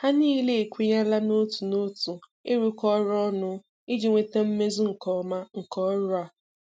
Ha niile ekwenyela n'otu n'otu ịrụkọ ọrụ ọnụ iji nweta mmezu nke ọma nke ọrụ a.